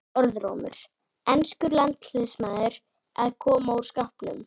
Orðrómur: Enskur landsliðsmaður að koma úr skápnum?